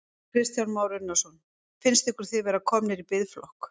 Kristján Már Unnarsson: Finnst ykkur þið vera komnir í biðflokk?